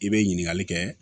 I bɛ ɲininkali kɛ